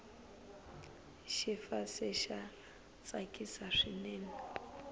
xifase xa tsakisa swinene